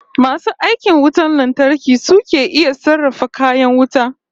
Masu aikin wutar lantarki su ke iya sarrafa kayan wuta